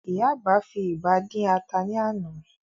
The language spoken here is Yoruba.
Ìyá àgbà fi ìgbá dín ata ní àná